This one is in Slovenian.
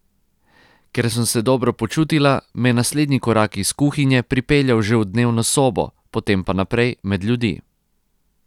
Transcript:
Ker sem se dobro počutila, me je naslednji korak iz kuhinje pripeljal že v dnevno sobo, potem pa naprej, med ljudi.